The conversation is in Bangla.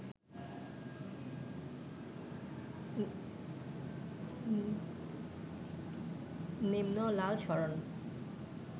নিম্ন লাল সরণ